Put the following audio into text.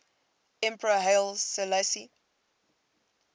emperor haile selassie